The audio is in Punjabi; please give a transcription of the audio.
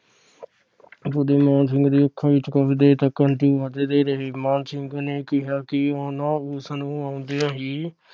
ਮਾਣ ਸਿੰਘ ਦੇ ਅੱਖਾਂ ਵਿਚ ਕੁਝ ਦੇਰ ਤਕ ਹੰਜੂ ਵਗਦੇ ਰਹੇ । ਮਾਣ ਸਿੰਘ ਨੇ ਕਿਹਾ ਕੀ ਓਹਨਾ ਉਸਨੂੰ ਓੰਦਿਆਂ ਹੀ